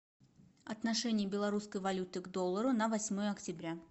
отношение белорусской валюты к доллару на восьмое октября